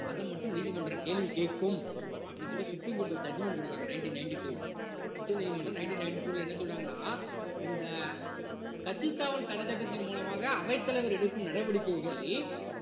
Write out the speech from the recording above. அது மட்டும் நீதிமன்றம் கேள்வி கேட்கும் அப்படின்னு சொல்லி supreme court ஒரு judgement கொடுக்குறாங்க nineteen ninety two ல உச்சநீதிமன்றம் nineteen ninety two ல என்ன சொல்றாங்கன்னா இந்த கட்சித்தாவல் தடைச்சட்டத்தின் மூலமாக அவைத்தலைவர் எடுக்கும் நடவடிக்கைகள்